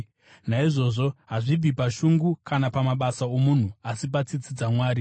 Naizvozvo, hazvibvi pashungu kana pamabasa omunhu, asi patsitsi dzaMwari.